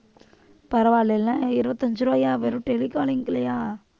பரவாயில்லைல இருபத்தி அஞ்சு ரூபாயா வெறும் telecalling லயா